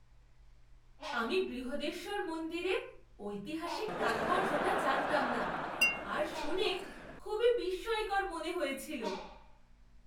আমি বৃহদেশ্বর মন্দিরের ঐতিহাসিক তাৎপর্যটা জানতাম না আর শুনে খুবই বিস্ময়কর মনে হয়েছিল।